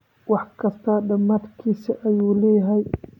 Wax kista dhamadkis ayulehyhy.